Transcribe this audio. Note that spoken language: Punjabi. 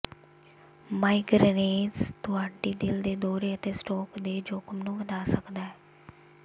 ਮਾਈਗਰੇਨਜ਼ ਤੁਹਾਡੀ ਦਿਲ ਦੇ ਦੌਰੇ ਅਤੇ ਸਟ੍ਰੋਕ ਦੇ ਜੋਖਮ ਨੂੰ ਵਧਾ ਸਕਦਾ ਹੈ